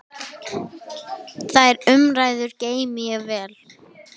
Þær umræður geymi ég vel.